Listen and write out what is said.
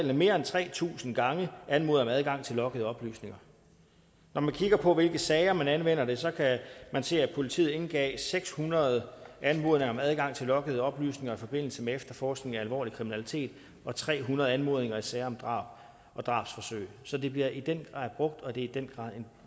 har mere end tre tusind gange anmodede om adgang til loggede oplysninger når man kigger på i hvilke sager man anvender det så kan man se at politiet indgav seks hundrede anmodninger om adgang til loggede oplysninger i forbindelse med efterforskning af alvorlig kriminalitet og tre hundrede anmodninger i sager om drab og drabsforsøg så det bliver den grad brugt og det er i den grad af